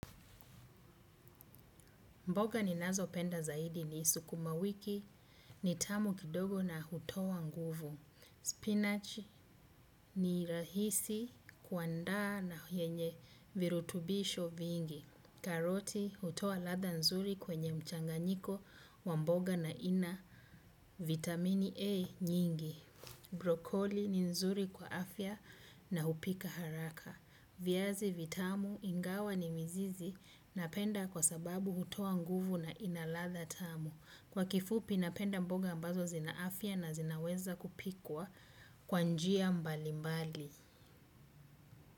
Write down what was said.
Mboga ni nazo penda zaidi ni sukumawiki, ni tamu kidogo na hutoa nguvu. Spinach ni rahisi kuandaa na yenye virutubisho vingi. Karoti hutoa ladha nzuri kwenye mchanganyiko wa mboga na ina vitamini A nyingi. Brokoli ni nzuri kwa afya na hupika haraka. Viazi, vitamu, ingawa ni mizizi, napenda kwa sababu hutoa nguvu na ina ladha tamu. Kwa kifupi napenda mboga ambazo zina afya na zinaweza kupikwa kwanjia mbali mbali.